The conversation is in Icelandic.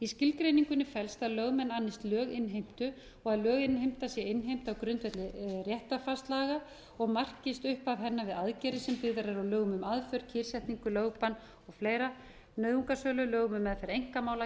skilgreiningunni felst að lögmenn annist löginnheimtu og að löginnheimta innheimta á grundvelli réttarfarslaga og markist upp að henni sem byggðar eru á lögum um aðför kyrrsetningu lögbann og fleira nauðungarsölulaga um meðferð einkamála gjaldþrotaskipti